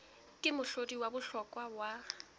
ke mohlodi wa bohlokwa wa